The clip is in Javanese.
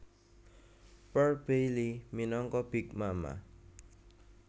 Pearl Bailey minangka Big Mama